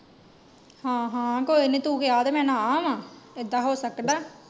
ਹਾਂ ਹਾਂ ਕੋਇਨੀ ਤੂੰ ਕਿਹਾ ਤੇ ਮੈਂ ਨਾ ਆਵਾਂ, ਇੱਦਾ ਹੋ ਸਕਦਾ।